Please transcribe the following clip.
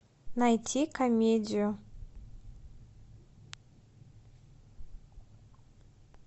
найти комедию